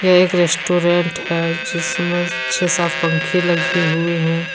यह एक रेस्टोरेंट है जिसमें छे सात पंखे लगे हुए हैं।